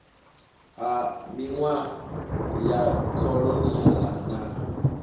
ha minwaha ya kholoniala na